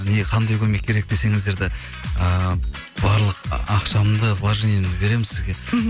не қандай көмек керек десеңіздер де ыыы барлық ақшамды вложениемді беремін сізге мхм